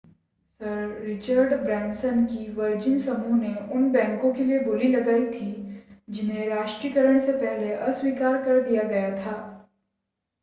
sir Richard Branson के Virgin समूह ने उन बैंको के लिए बोली लगाई थी जिन्हे राष्ट्रीयकरण से पहले अस्वीकार कर दिया गया था